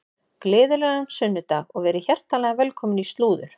Gleðilegan sunnudag og verið hjartanlega velkomin í slúður.